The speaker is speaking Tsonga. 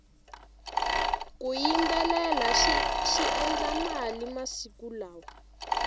ku yimbelela swi endla mali masiku lawa